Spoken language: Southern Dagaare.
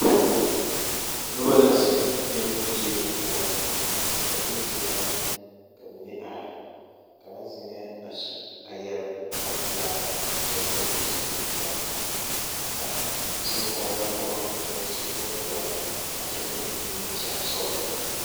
Noba la zeŋ alopelee poɔ ba mine zeŋeŋ ka ba mine are kaŋa zeŋeŋ a su a yɛre kparepelaa kyɛ vɔgle zupilipelaa ka zonkɔglɔ pɔgɔ meŋ su bondɔre a kyɛ eŋ nimikyaanesɔglɔ.